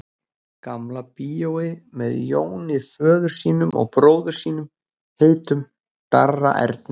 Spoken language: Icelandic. Gamla bíói með Jóni föður sínum og bróður sínum heitnum, Darra Erni.